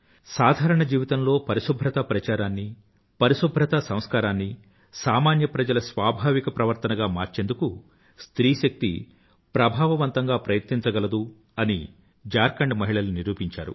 సాధారణ జీవితంలో పరిశుభ్రతా ప్రచారాన్ని పరిశుభ్రతా సంస్కారాన్ని సామాన్య ప్రజల స్వాభావిక ప్రవర్తనగా మార్చేందుకు స్త్రీశక్తి ప్రభావవంతంగా ప్రయత్నించగలదు అని ఝార్ఖండ్ మహిళలు నిరూపించారు